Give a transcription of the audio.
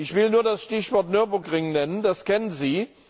Ich will nur das Stichwort Nürburgring nennen, das kennen Sie.